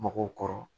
Mɔgɔw kɔrɔ